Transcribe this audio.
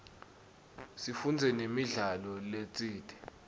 sifundze namidlalo letsite